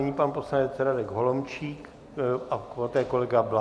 Nyní pan poslanec Radek Holomčík a poté kolega Bláha.